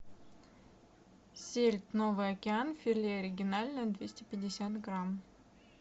сельдь новый океан филе оригинальное двести пятьдесят грамм